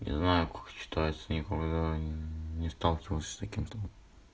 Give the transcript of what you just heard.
не знаю как читается никогда не сталкивался с таким словом